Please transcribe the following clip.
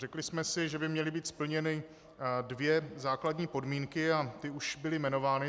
Řekli jsme si, že by měly být splněny dvě základní podmínky - a ty už byly jmenovány.